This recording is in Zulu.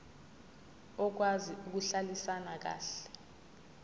okwazi ukuhlalisana kahle